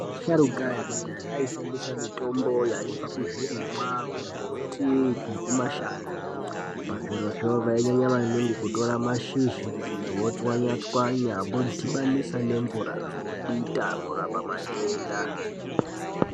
Vasharuka vekudhaya vaishandisa mutombo waibva kuzvirimwa kumbuti nekumashango. Pazvirozvo vainyanya maningi kutora mashizha votswanya tswanya vodhibanisa nemvura vodita, kurapa matenda.